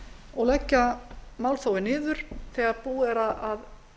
og leggja málþófið niður þegar búið er að